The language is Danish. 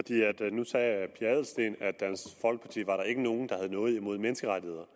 nu sagde fru pia adelsteen at i dansk folkeparti var der ikke nogen der havde noget mod menneskerettigheder